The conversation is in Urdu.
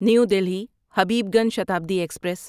new Delhi Habibganj Shatabdi express